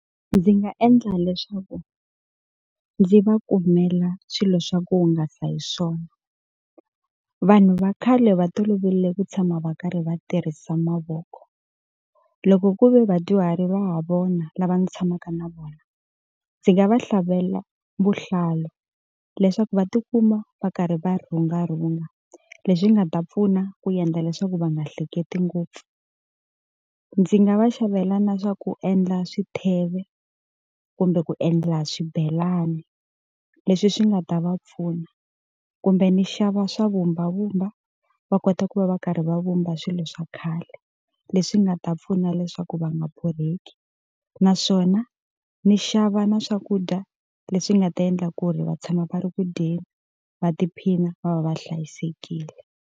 Ndzi nga endla leswaku ndzi va kumela swilo swa ku hungasa hi swona. Vanhu va khale va toloverile ku tshama va karhi va tirhisa mavoko. Loko ku ve vadyuhari va ha vona lava ndzi tshamaka na vona, ndzi nga va xavelela vuhlalu leswaku va tikuma va karhi va rhungarhunga leswi nga ta pfuna ku endla leswaku va nga hleketi ngopfu. Ndzi nga va xavela na swa ku endla xitheve, kumbe ku endla swibelani, leswi swi nga ta va pfuna. Kumbe ni xava swa vumbavumba va kota ku va va karhi va vumba a swilo swa khale, leswi nga ta pfuna leswaku va nga borheki. Naswona ndzi xava na swakudya leswi nga ta endla ku ri va tshama va ri ku dyeni, va tiphina, va va va hlayisekile.